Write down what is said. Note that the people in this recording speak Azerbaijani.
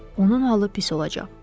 onun halı pis olacaq.